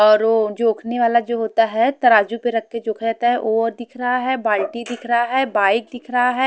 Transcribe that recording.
और ओ जोखने वाला जो होता है तराजू पे रख के जोखा जाता है वो दिख रहा है बाल्टी दिख रहा है बाइक दिख रहा है।